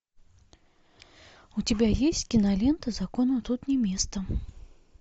у тебя есть кинолента закону тут не место